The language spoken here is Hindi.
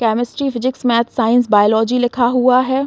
Chemistry physics maths and biology लिखा हुआ है।